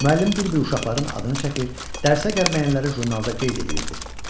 Müəllim bir-bir uşaqların adını çəkir, dərsə gəlməyənləri jurnalda qeyd eləyirdi.